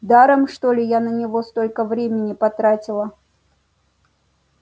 даром что ли я на него столько времени потратила